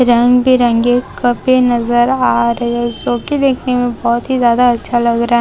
रंग बिरंगे कपे नजर आ रहे है सो की देखने में बहुत ही ज्यादा अच्छा लग रहा--